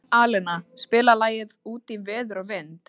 Alena, spilaðu lagið „Út í veður og vind“.